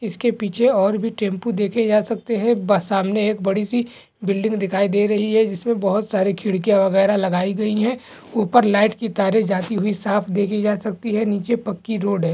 इसके पीछे और भी टेमपू देखे जा सकते है ब सामने एक बिल्डिंग दिखाई दे रही है जिस मे बहुत सारी खिड़किया वगैरा लगाई गयी है ऊपर लाइट की तारे जाती हुई साफ देखि जा सकती है नीचे पक्की रोड है।